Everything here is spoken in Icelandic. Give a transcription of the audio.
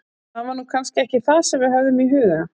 Það var nú kannski ekki það sem við höfðum í huga.